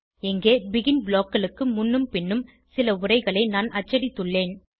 இங்கே பெகின் blockகளுக்கு முன்னும் பின்னும் சில உரைகளை நான் அச்சடித்துள்ளேன்